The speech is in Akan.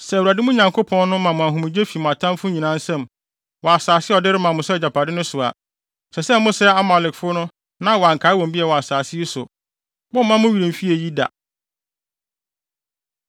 Sɛ Awurade, mo Nyankopɔn no, ma mo ahomegye fi mo atamfo nyinaa nsam, wɔ asase a ɔde rema mo sɛ agyapade no so a, ɛsɛ sɛ mosɛe Amalekfo na wɔankae wɔn bio wɔ asase yi so. Mommma mo werɛ mfi eyi da!